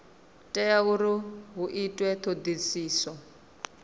tea uri hu itwe dzithodisiso